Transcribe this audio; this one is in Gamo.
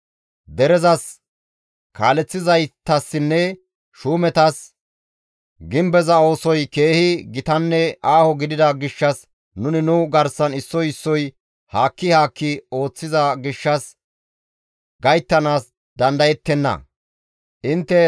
Derezas, kaaleththizaytassinne shuumetas, «Gimbeza oosoy keehi gitanne aaho gidida gishshas nuni nu garsan issoy issoy haakki haakki ooththiza gishshas issoy issaara gayttanaas dandayettenna.